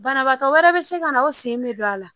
Banabaatɔ wɛrɛ bɛ se ka na o sen bɛ don a la